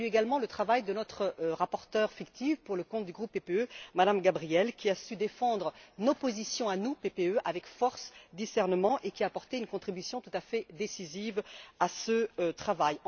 Je salue également le travail de notre rapporteure fictive pour le compte du groupe PPE, Mme Gabriel, qui a su défendre nos positions à nous, PPE, avec force et discernement et qui a apporté une contribution tout à fait décisive à ce travail.